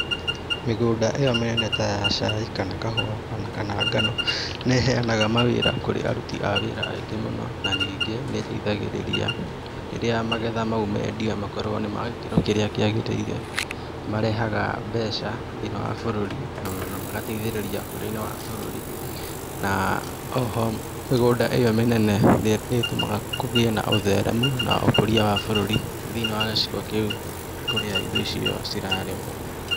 Mĩgũnda ĩo mĩnene ta ya cai kana kahũa, o na kana ngano nĩ ĩhenaga mawĩra kũrĩ aruti a wĩra aingĩ mũno na ningĩ nĩ ĩteithagĩrĩria rĩrĩa magetha mau mendia makorũo nĩ ma gĩkĩro kĩrĩa kĩagĩrĩire nĩ marehaga mbeca thĩinĩ wa bũrũri, na na magateithĩrĩria ũkũrũ-inĩ wa bũrũri, na o ho mĩgũnda ĩo mĩnene nĩ nĩ ĩtũmaga kũgĩe na ũtheeremu na ũkũria wa bũrũri thĩinĩ wa gĩcigo kĩu kũrĩa irio icio cirarĩmwo.